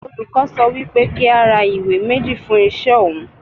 Olùkọ́ sọ wí pé kí á ra ìwé méjì fún iṣẹ́ òun.